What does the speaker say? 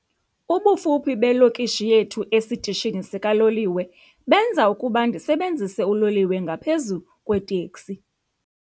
Ubufuphi belokishi yethu esitishini sikaloliwe benza ukuba ndisebenzise uloliwe ngaphezu kweeteksi.